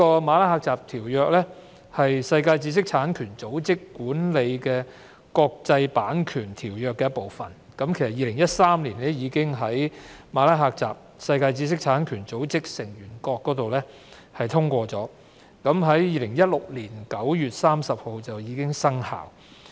《馬拉喀什條約》是在世界知識產權組織轄下締結的國際條約，已於2013年由世界知識產權組織成員國通過，並於2016年9月30日生效。